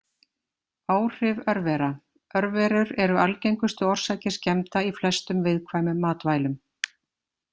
Áhrif örvera Örverur eru algengustu orsakir skemmda í flestum viðkvæmum matvælum.